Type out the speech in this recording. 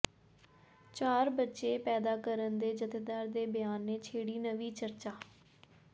ਚਾਰ ਬੱਚੇ ਪੈਦਾ ਕਰਨ ਦੇ ਜਥੇਦਾਰ ਦੇ ਬਿਆਨ ਨੇ ਛੇੜੀ ਨਵੀਂ ਚਰਚਾ